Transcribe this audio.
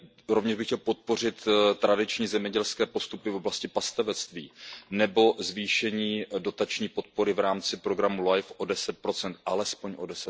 Rovněž bych chtěl podpořit tradiční zemědělské postupy v oblasti pastevectví nebo zvýšení dotační podpory v rámci programu Life o 10 alespoň o